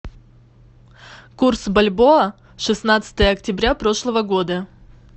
курс бальбоа шестнадцатое октября прошлого года